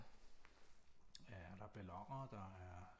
Ja der er balloner der er